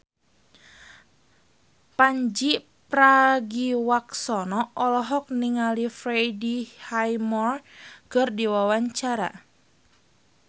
Pandji Pragiwaksono olohok ningali Freddie Highmore keur diwawancara